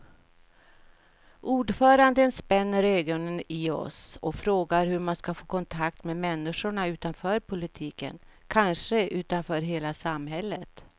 Ordföranden spänner ögonen i oss och frågar hur man ska få kontakt med människorna utanför politiken, kanske utanför hela samhället.